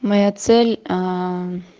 моя цель аа